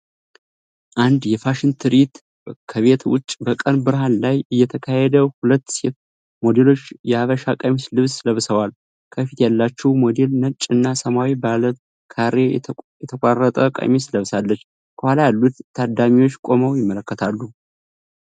አንድ የፋሽን ትርኢት ከቤት ውጭ በቀን ብርሃን ላይ እየተካሄደ ፤ ሁለት ሴት ሞዴሎች የሀበሻ ቀሚስ ልብስ ለብሰዋል። ከፊት ያለችው ሞዴል ነጭ እና ሰማያዊ ባለ ካሬ የተቆራረጠ ቀሚስ ለብሳለች። ከኋላ ያሉት ታዳሚዎች ቆመው ይመለከታሉ።